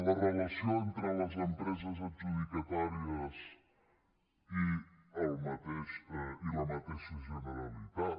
la relació entre les empreses adjudicatàries i la mateixa generalitat